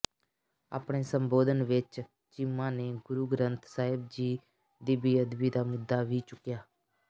ਆਪਣੇ ਸੰਬੋਧਨ ਵਿੱਚ ਚੀਮਾ ਨੇ ਗੁਰੂ ਗ੍ਰੰਥ ਸਾਹਿਬ ਜੀ ਦੀ ਬੇਅਦਬੀ ਦਾ ਮੁੱਦਾ ਵੀ ਚੁੱਕਿਆ